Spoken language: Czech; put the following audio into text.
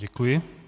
Děkuji.